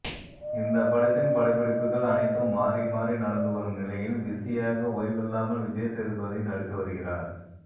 இந்த படத்தின் படப்பிடிப்புகள் அனைத்தும் மாறி மாறி நடந்து வரும் நிலையில் பிசியாக ஓய்வில்லாமல் விஜய்சேதுபதி நடித்து வருகிறார்